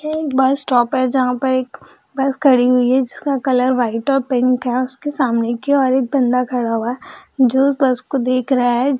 यह एक bus stop है जहाँ पर एक बस खड़ी हुई है जिसका कलर व्हाइट और पिंक है उसके सामने की ओर एक बंदा खड़ा हुआ है जो बस को देख रहा है ।